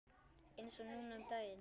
Eins og núna um daginn.